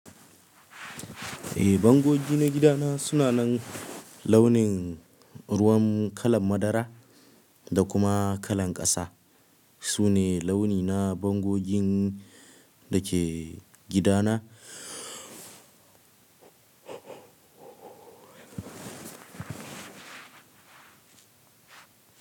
Eh, bango biyu na gida na suna nan launin ruwan kalan madara da kuma kalan ƙasa. Su ne launi na bangogin da ke gida na.